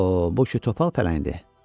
"Bax o, bu ki topal pələngdir.